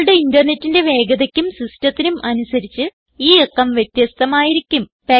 നിങ്ങളുടെ ഇന്റർനെറ്റിന്റെ വേഗതയ്ക്കും സിസ്റ്റത്തിനും അനുസരിച്ച് ഈ അക്കം വ്യത്യസ്ഥമായിരിക്കും